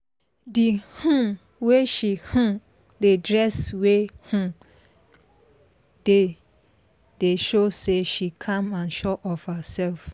the um way she um dey dress every um day dey show say she calm and sure of herself